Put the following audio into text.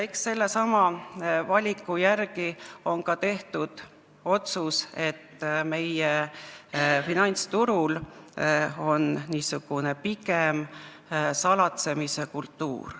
Eks sellesama valiku järgi ole tehtud ka otsus, et meie finantsturul on pigem salatsemise kultuur.